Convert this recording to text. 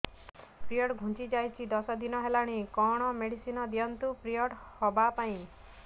period ଘୁଞ୍ଚି ଯାଇଛି ଦଶ ଦିନ ହେଲାଣି କଅଣ ମେଡିସିନ ଦିଅନ୍ତୁ ପିରିଅଡ଼ ହଵା ପାଈଁ